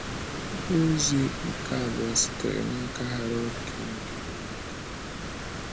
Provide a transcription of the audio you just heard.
Akwụkwọ ozi nke abụọ sitere n'aka Harold King bụ nke m.